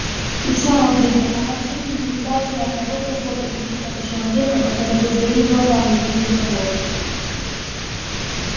и в самом деле она в жизни не видала ни одного завода или хотя бы человека который бы своими глазами видел завод